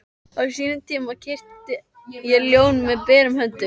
Á sínum tíma kyrkti ég ljón með berum höndum.